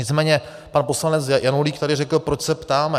Nicméně pan poslanec Janulík tady řekl, proč se ptáme.